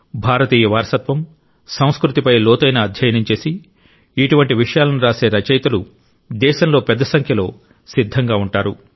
భారతీయ వారసత్వం సంస్కృతిపై లోతైన అధ్యయనం చేసి ఇటువంటి విషయాలను రాసే రచయితలు దేశంలో పెద్ద సంఖ్యలో సిద్ధంగా ఉంటారు